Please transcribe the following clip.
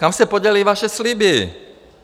Kam se poděly vaše sliby?